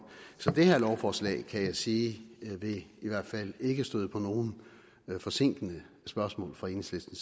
så det her lovforslag kan jeg sige vil i hvert fald ikke støde på nogen forsinkende spørgsmål fra enhedslisten